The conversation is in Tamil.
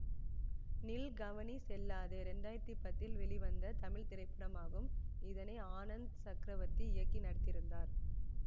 நில் கவனி செல்லாதே இரண்டு ஆயிரத்தி பத்தில் வெளிவந்த தமிழ் திரைப்படமாகும் இதனை ஆனந்த் சக்ரவர்த்தி இயக்கி நடித்திருந்தார்